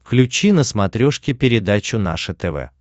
включи на смотрешке передачу наше тв